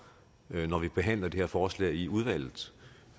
når vi behandler det her forslag i udvalget